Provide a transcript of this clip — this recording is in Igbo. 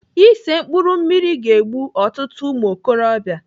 Ise mkpụrụ mmiri ga-egbu ọtụtụ ụmụokorobịa.